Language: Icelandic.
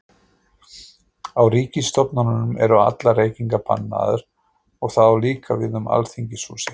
Á ríkisstofnunum eru allar reykingar bannaðar og það á líka við um Alþingishúsið.